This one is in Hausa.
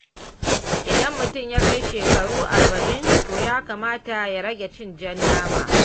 Idan mutum ya kai shekaru 40, to ya kamata ya rage cin jan nama.